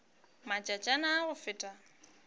matšatšana a a go feta